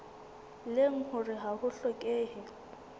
leng hore ha ho hlokehe